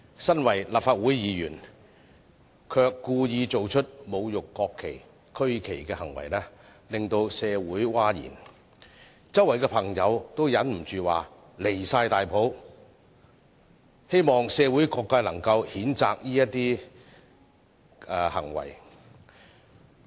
作為立法會議員，卻故意做出侮辱國旗、區旗的行為，令社會譁然，周圍的朋友都忍不住說十分離譜，希望社會各界能夠譴責這些行為。